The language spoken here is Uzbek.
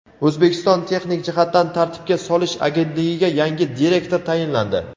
O‘zbekiston texnik jihatdan tartibga solish agentligiga yangi direktor tayinlandi.